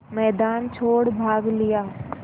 मैदान छोड़ भाग लिया